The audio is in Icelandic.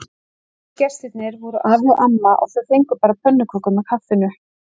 Einu gestirnir voru afi og amma og þau fengu bara pönnukökur með kaffinu.